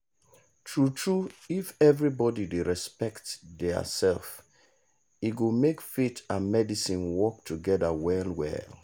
true true if everybody dey respect theirself e go make faith and medicine work togeda well well.